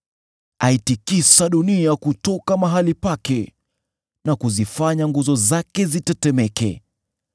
Aitikisa dunia kutoka mahali pake na kuzifanya nguzo zake zitetemeke.